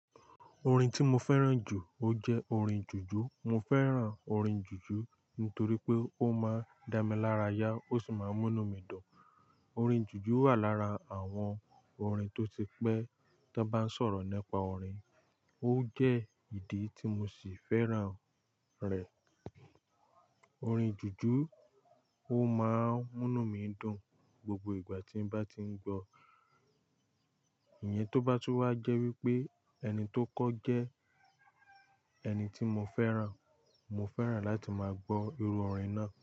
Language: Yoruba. Orin tí mo fẹ́ràn jù ó jẹ́ orin jùjú. Mo fẹ́ràn orin jùjú nítorí pé ó máa ń dá mi lára yá ó sì máa ń múnú mí dùn. Orin jùjú wà lára àwọn orin tó ti pẹ́ tó bá ń sọ̀rọ̀ nípa orin. Ó jẹ́ ìdí tí mo sì fẹ́ràn rẹ̀. Orin jùjú ó máa ń múnú mí dùn gbogbo ìgbà tí ń bá ti ń gbọ́. Ìyẹn tó bá tún wá jẹ́ wípé ẹni tó kọ jẹ́ ẹni tí mo fẹ́ràn. Mo fẹ́ràn láti máa gbọ́ irú orin náà.